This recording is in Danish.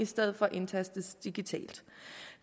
stedet for indtastes digitalt